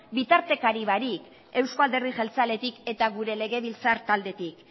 bitartekari barik eusko alderdi jeltzaletik eta gure legebiltzar taldetik